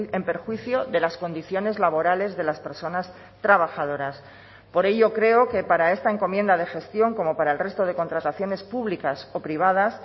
en perjuicio de las condiciones laborales de las personas trabajadoras por ello creo que para esta encomienda de gestión como para el resto de contrataciones públicas o privadas